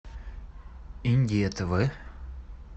индия тв